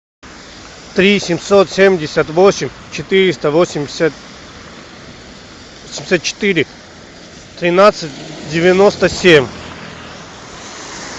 три семьсот семьдесят восемь четыреста восемьдесят четыре тринадцать девяносто семь